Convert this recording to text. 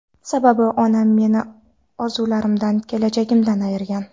Sababi onam meni orzularimdan, kelajagimdan ayirgan.